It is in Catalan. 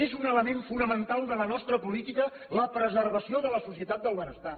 és un element fonamental de la nostra política la preservació de la societat del benestar